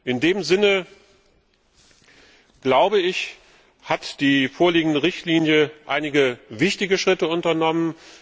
In dem Sinne, glaube ich, wurden mit der vorliegenden Richtlinie einige wichtige Schritte unternommen.